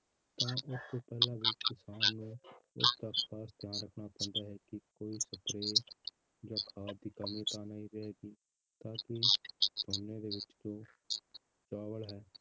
ਤਾਂ ਉਸ ਤੋਂ ਪਹਿਲਾਂ ਵੀ ਕਿਸਾਨ ਨੂੰ ਇਸ ਗੱਲ ਦਾ ਖਾਸ ਧਿਆਨ ਰੱਖਣਾ ਪੈਂਦਾ ਹੈ ਕਿ ਕੋਈ spray ਜਾਂ ਖਾਦ ਦੀ ਕਮੀ ਤਾਂ ਨੀ ਰਹੇਗੀ, ਤਾਂ ਕਿ ਝੋਨੇ ਦੇ ਵਿੱਚ ਜੋ ਚਾਵਲ ਹੈ